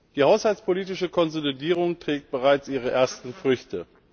Die haushaltspolitische Konsolidierung trägt bereits ihre ersten Früchte.